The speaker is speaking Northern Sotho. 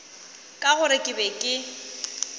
ka gore ke be ke